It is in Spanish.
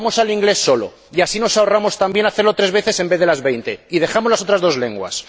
Pues vamos al inglés solo y así nos ahorramos también hacerlo tres veces, en vez de las veinte, y dejamos las otras dos lenguas.